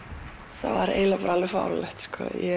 það er alveg fáránlegt